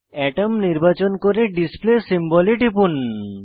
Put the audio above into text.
আতম নির্বাচন করে display symbol এ টিপুন